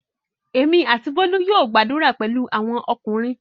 Èmi àti Bólú yóò gbadura pẹ̀lú àwọn ọkùnrin.